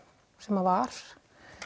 sem að var